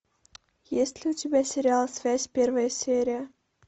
есть ли у тебя сериал связь первая серия